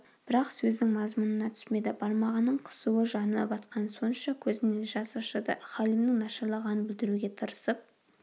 бірақ сөздің мазмұнына түсінбеді бармағының қысуы жаныма батқаны сонша көзімнен жас ыршыды халімнің нашарлағанын білдіруге тырысып